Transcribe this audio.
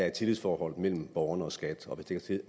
et tillidsforhold mellem borgerne og skat og